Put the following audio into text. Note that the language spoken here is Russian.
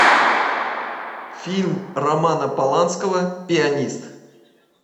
фильм романа поланского пианист